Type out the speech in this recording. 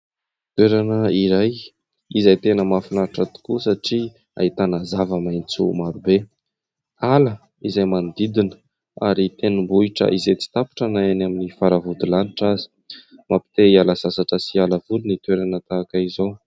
Toerana iray izay tena mahafinaritra tokoa satria ahitana zava-maitso marobe. Ala izay manodidina ary tendrombohitra izay tsy tapitra na eny amin'ny faravodilanitra aza. Mampite hiala sasatra sy hiala voly ny toerana tahaka izao.